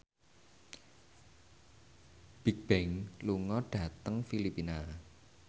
Bigbang lunga dhateng Filipina